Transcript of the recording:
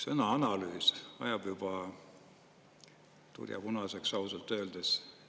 Sõna "analüüs" ajab juba harja tulipunaseks ausalt öeldes.